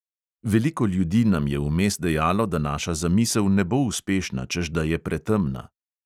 Veliko ljudi nam je vmes dejalo, da naša zamisel ne bo uspešna, češ da je pretemna ...